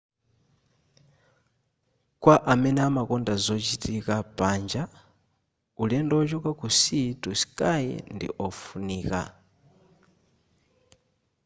kwa amene amakonda zochitika panja ulendo wochoka ku sea to sky ndi ofunika